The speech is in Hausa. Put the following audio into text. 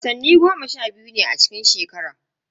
Watanni goma sha biyu ne a cikin shekara.